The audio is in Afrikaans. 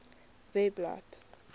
webblad